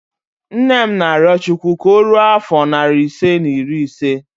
Nne m na-arịọ Chukwu ka o ruo afọ narị ise na iri ise